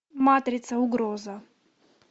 матрица угроза